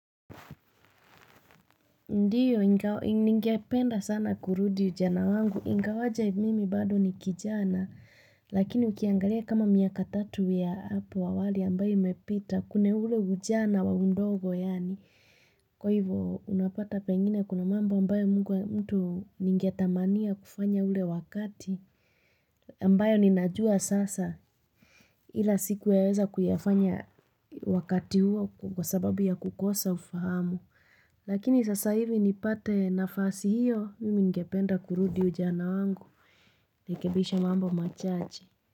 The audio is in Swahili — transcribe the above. Ndiyo, ningependa sana kurudi ujana wangu, ingawaje mimi bado ni kijana, lakini ukiangalia kama miaka tatu ya hapo hawali ambayo umepita kune ule ujana wa mdogo yani. Kwa hivo, unapata pengine kuna mambo ambayo mtu ningiatamania kufanya ule wakati ambayo ninajua sasa ila siku yaweza kuyafanya wakati huo kwa sababu ya kukosa ufahamu. Lakini sasa hivi ni pate nafasi hiyo mimi ngependa kurudi ujana wangu nirekebishe mambo machache.